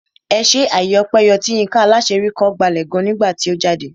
Ẹṣé àyè ọpẹ yọ tí Yinka Alaṣeyori kọ gbalẹ̀ gan nígbà tí ó jáde.